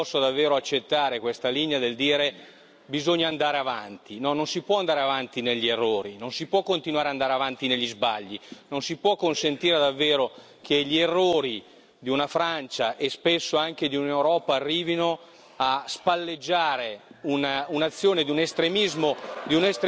Io non posso davvero accettare questa linea del dire bisogna andare avanti no, non si può andare avanti negli errori, non si può continuare ad andare avanti negli sbagli, non si può consentire davvero che gli errori della Francia, e spesso anche dell'Europa, arrivino a spalleggiare l'azione di un estremismo